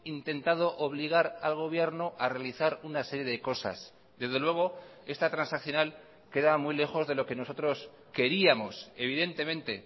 intentado obligar al gobierno a realizar una serie de cosas desde luego esta transaccional queda muy lejos de lo que nosotros queríamos evidentemente